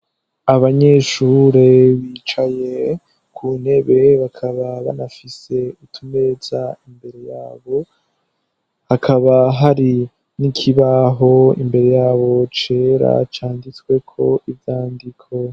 Abanyeshure bicaye ku ntebe bakaba banafise utumeza imbere yabo. Hakaba hari n'ikibaho imbere yabo cera canditswe ko ivyandiko.